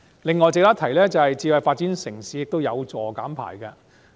此外，值得一提的是，發展智慧城市也有助減排。